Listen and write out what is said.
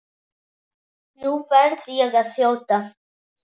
Nú verð ég að þjóta.